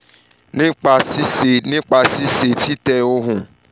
nipa ṣiṣe nipa ṣiṣe titẹ ohun